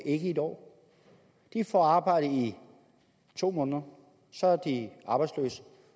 ikke i en år de får arbejde i to måneder så er de arbejdsløse